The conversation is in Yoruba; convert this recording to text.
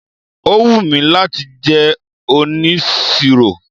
Ó wù mí láti jẹ́ onisiro.